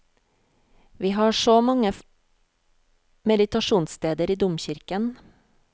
Vi har så mange meditasjonssteder i domkirken.